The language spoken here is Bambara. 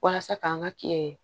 Walasa k'an ka kɛ